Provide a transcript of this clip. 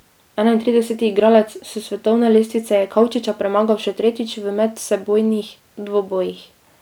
Enaintrideseti igralec s svetovne lestvice je Kavčiča premagal še tretjič v medsebojnih dvobojih.